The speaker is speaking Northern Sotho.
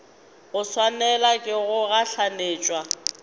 go swanelwa ke go gahlanetšwa